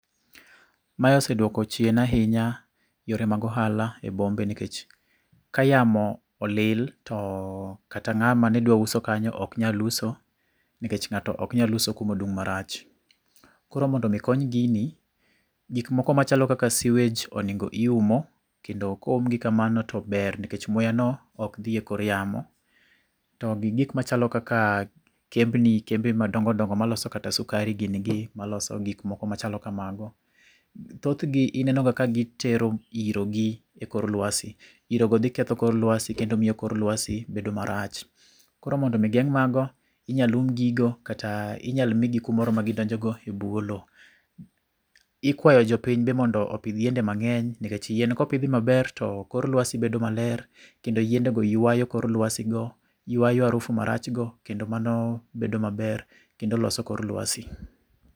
Mae oseduoko chien ahinya yore mag ohala e bombe nikech, ka yamo olil to kata ng'ama nedwa uso kanyo ok nyal uso nikech ng'ato ok nyal uso kumadung' marach. Koro mondo mi kony gini, gik moko machalo kaka sewage, oningo iumo, kendo koumgi kamano tober nikech muya no ok dhi ekor yamo. To gi gik machalo kaka kembni kembe madongodongo maloso kata sukari gini gi. Maloso gik moko machal kamago. Thothgi ineno ga ka gitero iro gi ekor luasi . Irogo dhiketho kor luasi kendo miyo kor luasi bedo marach. Koro mondo mi geng' mago, inya lum gigo kata inyal migi kumoro ma gidonjo go ebwo loo. Ikwayo jopiny be mondo opidh yiende mang'eny nikech yien kopidhi maber to kor luasi bedo maler kendo yiendego yuayo kor luasi go, yuayo harufu marach go. Kendo mano bedo maber kendo loso kor luasi